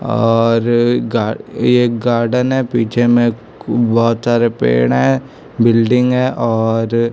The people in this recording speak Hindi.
और ये गार्डन है। पीछे में बहुत सारे पेड़ है। बिल्डिंग है और--